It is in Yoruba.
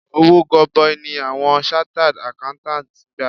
Owó gọbọi ni awọn chartered Accountants ń gbà.